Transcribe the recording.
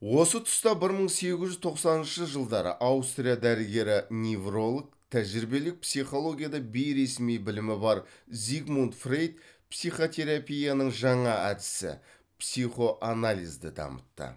осы тұста бір мың сегіз жүз тоқсаныншы жылдары аустрия дәрігері невролог тәжірибелік психологияда бейресми білімі бар зигмунд фрейд психотерапияның жаңа әдісі психоанализді дамытты